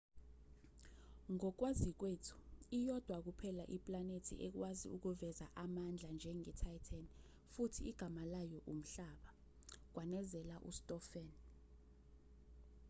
ngokwazi kwethu iyodwa kuphela iplanethi ekwazi ukuveza amandla njenge-titan futhi igama layo umhlaba kwanezela ustofan